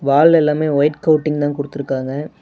வால்ல எல்லாமே ஒயிட் கோட்டிங்தா குடுத்துருக்காங்க.